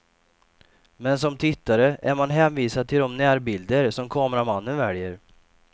Men som tittare är man hänvisad till de närbilder som kameramannen väljer.